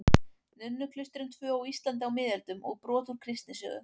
Nunnuklaustrin tvö á Íslandi á miðöldum og brot úr kristnisögu.